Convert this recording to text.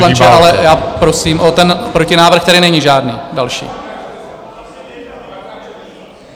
Pane poslanče, ale já prosím o ten - protinávrh tedy není žádný další?